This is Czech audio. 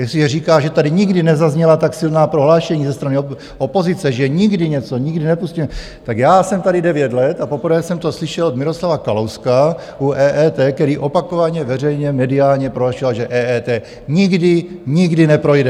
Jestliže říká, že tady nikdy nezazněla tak silná prohlášení ze strany opozice, že nikdy něco, nikdy nepustíme, tak já jsem tady devět let a poprvé jsem to slyšel od Miroslava Kalouska u EET, který opakovaně veřejně mediálně prohlašoval, že EET nikdy, nikdy neprojde.